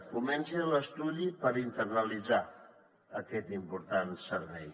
comenci l’estudi per internalitzar aquest important servei